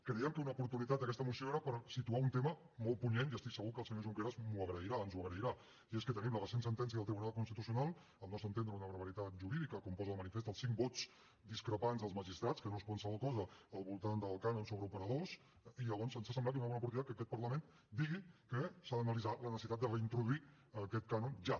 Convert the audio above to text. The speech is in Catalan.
creiem que una oportunitat d’aquesta moció era per situar un tema molt punyent i estic segur que el senyor junqueras m’ho agrairà ens ho agrairà i és que tenim la recent sentència del tribunal constitucional al nostre entendre una barbaritat jurídica com posen de manifest els cinc vots discrepants dels magistrats que no és qualsevol cosa al voltant del cànon sobre operadors i llavors ens ha semblat que era una bona oportunitat que aquest parlament digui que s’ha d’analitzar la necessitat de reintroduir aquest cànon ja